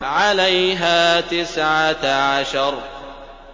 عَلَيْهَا تِسْعَةَ عَشَرَ